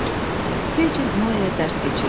Fecin Noyaya dərs keçirdi.